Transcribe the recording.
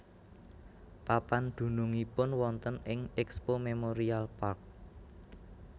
Papan dunungipun wonten ing Expo Memorial Park